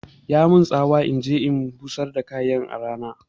Ya min tsawar inje in busar da kayan a rana